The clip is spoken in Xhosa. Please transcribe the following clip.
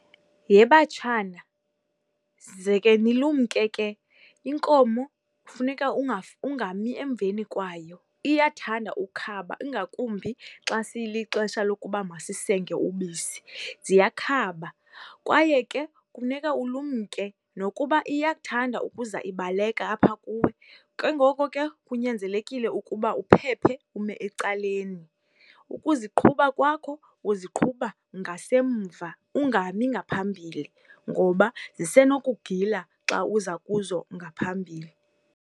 Yhe batshana, zeke nilumke ke. Inkomo kufuneka ungami emveni kwayo, iyathanda ukhaba ingakumbi xa siyilixesha lokuba masisenge ubisi. Ziyakhaba, kwaye ke kufuneka ulumke nokuba iyathanda ukuza ibaleka apha kuwe, kengoku ke kunyanzelekile ukuba uphephe ume ecaleni. Ukuziqhuba kwakho uziqhuba ngasemva, ungami ngaphambile ngoba zisenokukugila xa uza kuzo ungaphambile.